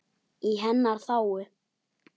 Í hennar þágu.